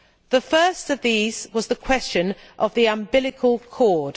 The first of these was the question of the umbilical cord.